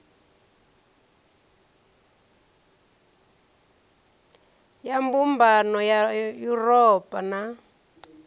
ya mbumbano ya yuropa na